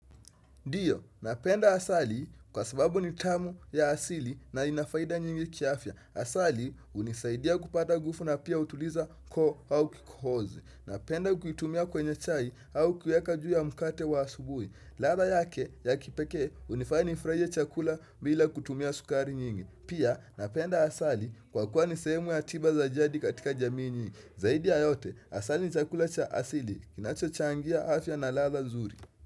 Ndiyo, napenda asali kwa sababu ni tamu ya asili na ina faida nyingi kiafya. Asali hunisaidia kupata nguvu na pia hutuliza koo au kikohozi. Napenda kukitumia kwenye chai au kuiweka juu ya mkate wa asubuhi. Ladha yake ya kipekee hunifanya nifurahie chakula bila kutumia sukari nyingi. Pia, napenda asali kwa kuwa ni sehemu ya tiba za jadi katika jamii nyingi. Zaidi ya yote, asali ni chakula cha asili. Kinachochangia afya na ladha nzuri.